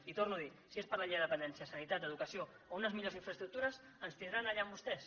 i ho torno a dir si és per a la llei de dependència sanitat o educació o unes millors infraestructures ens tindran allà amb vostès